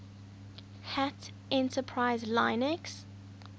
hat enterprise linux